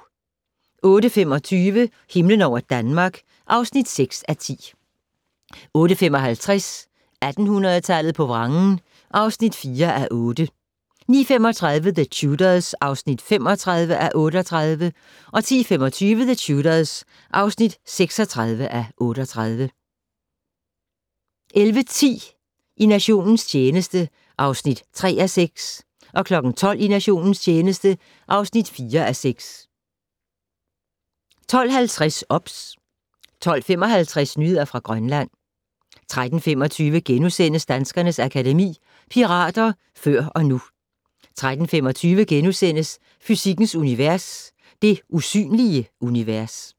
08:25: Himlen over Danmark (6:10) 08:55: 1800-tallet på vrangen (4:8) 09:35: The Tudors (35:38) 10:25: The Tudors (36:38) 11:10: I nationens tjeneste (3:6) 12:00: I nationens tjeneste (4:6) 12:50: OBS 12:55: Nyheder fra Grønland 13:25: Danskernes Akademi: Pirater før og nu * 13:25: Fysikkens Univers: Det usynlige univers *